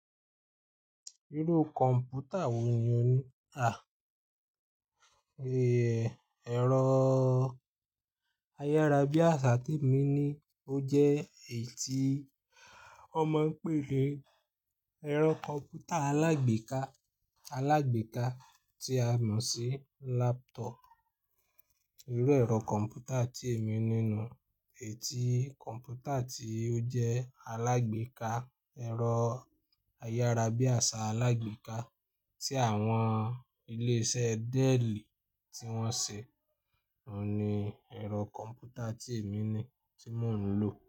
Irú kọ̀mpútà wò ní o ní? À, ge, ẹ̀rọ ayárabíàṣá tí èmi ní ó jẹ́ èyí tí wọ́n máa ń pè ni ẹ̀rọ kọ̀mpútà alágbèéká alágbèéká tí a mọ̀ sí laptop. Irú ẹ̀rọ kọ̀mpútà tí èmi nínú èyí tí kọ̀mpútà tí ó jẹ́ alágbèéká ẹ̀rọ ayárabíàṣá alágbèéká tí àwọn ilé iṣẹ́ Dell tí wọ́n ṣe, òun ni ẹ̀rọ kọ̀mpútà tí èmi ní tí mò ń lò.